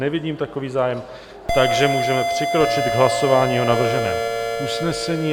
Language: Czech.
Nevidím takový zájem, takže můžeme přikročit k hlasování o navrženém usnesení.